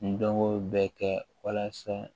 Ndomow bɛ kɛ walasa